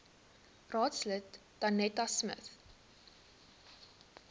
raadslid danetta smit